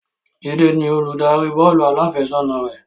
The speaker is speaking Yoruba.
Jide ni Olùdarí bọ́ọ̀lù aláfẹsẹ̀gbá náà